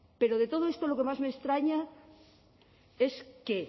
pero de todo esto lo que más me extraña es que